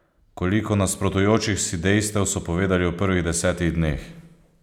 Koliko nasprotujočih si dejstev so povedali v prvih desetih dneh!